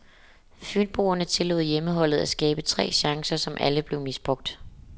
Fynboerne tillod hjemmeholdet at skabe tre chancer, som alle blev misbrugt.